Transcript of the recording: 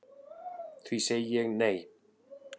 Því segi ég nei